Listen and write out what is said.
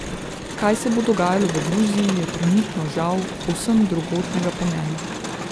Kaj se bo dogajalo v Gruziji, je trenutno, žal, povsem drugotnega pomena.